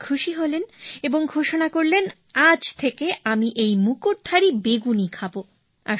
রাজা খুশী হলেন এবং ঘোষণা করলেন আজ থেকে আমি এই মুকুটধারী বেগুনই খাব